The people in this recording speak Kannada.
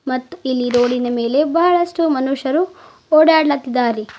ಮತ್ ಇಲ್ಲಿ ರೋಡಿನ ಮೇಲೆ ಬಹಳಷ್ಟು ಮನುಷ್ಯರು ಓಡಾಡ್ಳತದ್ದಾರೆ.